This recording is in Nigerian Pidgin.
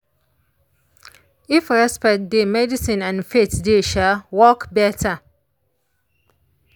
if respect dey medicine and faith dey um work better.